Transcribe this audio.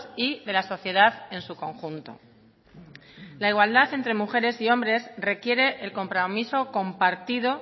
y de la sociedad en su conjunto la igualdad entre mujeres y hombres requiere el compromiso compartido